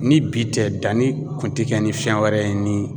Ni bi tɛ danni kun te kɛ ni fɛn wɛrɛ ye ni